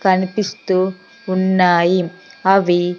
కనిపిస్తూ ఉన్నాయి. అవి --